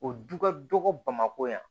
O du ka dɔgɔ bamakɔ yan